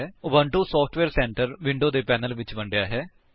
Ubuntu software centre window ਦੋ panels ਵਿੱਚ ਵੰਡਿਆ ਹੈ